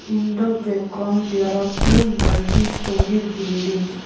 In the background there are few multi storey buildings.